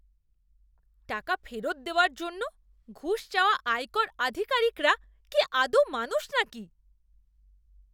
টাকা ফেরত দেওয়ার জন্য ঘুষ চাওয়া আয়কর আধিকারিকরা কি আদৌ মানুষ নাকি!